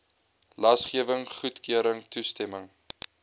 lasgewing goedkeuring toestemming